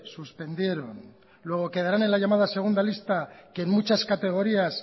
suspendieron luego quedarán en la llamada segunda lista que en muchas categorías